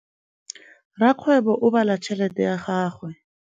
Rakgwêbô o bala tšheletê ya gagwe.